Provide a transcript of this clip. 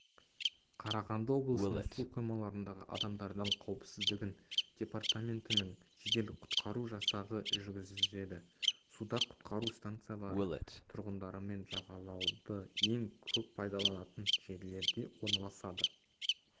қарағанды облысының су қоймаларындағы адамдардың қауіпсіздігін департаментінің жедел-құтқару жасағы жүргізеді суда құтқару станциялары тұрғындарымен жағалауды ең көп пайдаланатын жерлерде орналасады